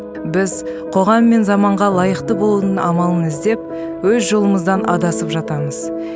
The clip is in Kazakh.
біз қоғам мен заманға лайықты болудың амалын іздеп өз жолымыздан адасып жатамыз